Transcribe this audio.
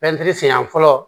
siɲɛ fɔlɔ